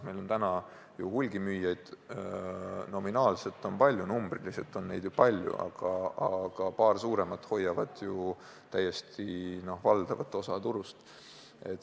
Meil on ju hulgimüüjaid numbriliselt palju, aga paar suuremat hoiavad valdavat osa turust enda käes.